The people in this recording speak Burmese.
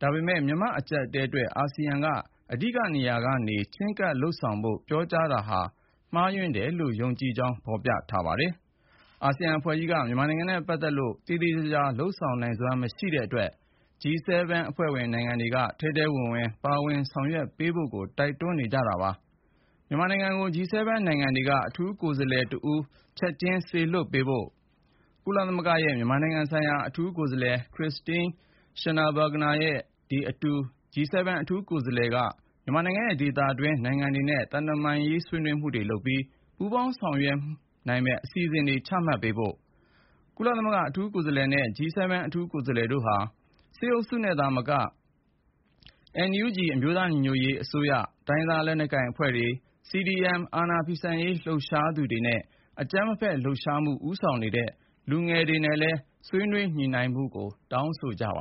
ဒါပေမယ့် မြန်မာ့အကြပ်အတည်းအတွက် အာဆီယံက အဓိကနေရာကနေ ချဉ်းကပ်လုပ်ဆောင်ဖို့ ပြောကြားချက်ဟာ မှားယွင်းတယ်လို့ ယုံကြည်ကြောင်း ဖေါ်ပြထားပါတယ်။ အာဆီယံအဖွဲ့ကြီးက မြန်မာနိုင်ငံနဲ့ ပတ်သက်ပြီး သေသေချာချာ လုပ်ဆောင်နိုင်စွမ်း မရှိတဲ့အတွက် G7 အဖွဲ့ဝင် နိုင်ငံတွေက ထဲထဲဝင်ဝင် ပါဝင်ဆောင်ရွက်ပေးဖို့ တိုက်တွန်းလိုက်ပါတယ်။ မြန်မာနိုင်ငံကို G7 နိုင်ငံတွေက အထူးကိုယ်စားလှယ် တဦး ချက်ချင်းစေလွှတ်ပေးဖို့ တောင်းဆိုလိုက်ပါတယ်။ ဒါ့အပြင် ကုလသမဂ္ဂရဲ့ မြန်မာနိုင်ငံဆိုင်ရာ အထူးကိုယ်စားလှယ် Christine Schraner Burgene နဲ့ အတူ G7 အထူးကိုယ်စားလှယ်က မြန်မာနိုင်ငံရဲ့ ဒေသတွင်း နိုင်ငံတွေနဲ့ သံတမန်ဆွေးနွေးမှုတွေ လုပ်ပြီး ပူးပေါင်းညှိနှိုင်းဆောင်ရွက်မယ့် အစီစဉ်တခု ချမှတ်ဖို့ လိုလားကြောင်း ပြောပါတယ်။ ကုလအထူးကိုယ်စားလှယ်နဲ့ G7 အထူးကိုယ်စားလှယ်တို့ အနေနဲ့ စစ်အုပ်စုနဲ့သာမက NUG အမျိုးသားညီညွတ်ရေးအစိုးရ၊ တိုင်းရင်းသားလက်နက်ကိုင် တော်လှန်ရေးအဖွဲ့အစည်းတွေ၊ စစ်အာဏာဖီဆန်ရေး CDM လုပ်နေသူတွေ အပြင် အကြမ်းမဖက် လှုပ်ရှားမှုကို ရှေ့တန်းကဦးဆောင်နေတဲ့ လူငယ်တွေနဲ့ ဆွေးနွေးညှိနှိုင်းဖို့ တောင်းဆိုထားပါ